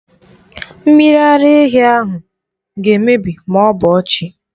Mmiri ara ehi ahụ ga-emebi ma ọ bọọ chi.